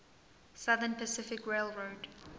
southern pacific railroad